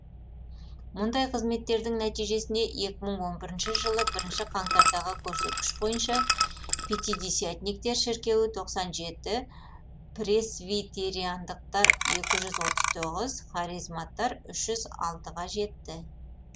мұндай қызметтердің нәтижесінде екі мың он бірінші жылы бірінші қаңтардағы көрсеткіш бойынша пятидесятниктер шіркеуі тоқсан жеті пресвитериандықтар екі жүзотыз тоғыз харизматтар үш жүз алтыға жетті